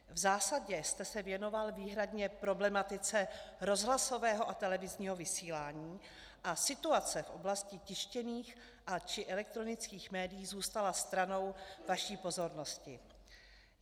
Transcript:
V zásadě jste se věnoval výhradně problematice rozhlasového a televizního vysílání a situace v oblasti tištěných či elektronických médií zůstala stranou vaší pozornosti.